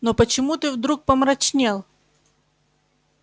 но почему ты вдруг помрачнел